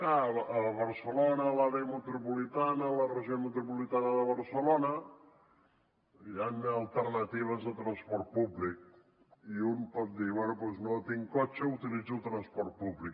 a barcelona a l’àrea metropolitana a la regió metropolitana de barcelona hi han alternatives de transport públic i un pot dir bé no tinc cotxe utilitzo el transport públic